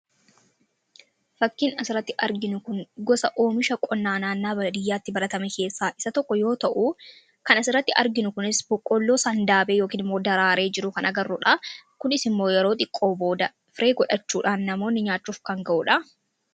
Fakkiin asirratti arginu kun gosa oomishaa qonnaa naannawaa baadiyyaatti baratame keessaa isa tokko yoo ta'u, kan asirratti arginu kunis boqqolloo sandaabee yookiin immoo daraaree jiru kan agarruudha. Kunis immoo yeroo xiqqoo booda firii godhachuudhaan namoonni nyaachuuf kan ga'uudha.